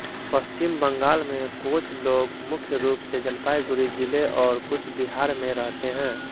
पश्चिम बंगाल में कोच लोग मुख्य रूप से जलपाईगुड़ी जिले और कूचबिहार में रहते हैं